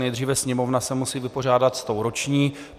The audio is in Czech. Nejdříve Sněmovna se musí vypořádat s tou roční.